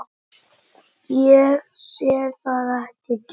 Ég sé það ekki gerast.